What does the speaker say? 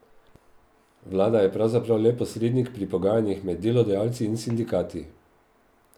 Vlada je pravzaprav le posrednik pri pogajanjih med delodajalci in sindikati.